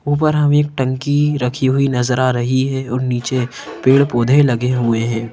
ऊपर हमें एक टंकी रखी हुई नजर आ रही है और नीचे पेड़-पौधे लगे हुए हैं।